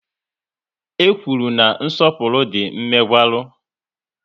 E kwụrụ na nsọpụrụ dị mmegwara